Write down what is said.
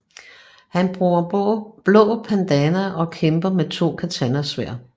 Han bruger blå bandana og kæmper med to katanasværd